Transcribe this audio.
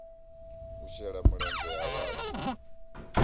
u shela mulenzhe ha vhathu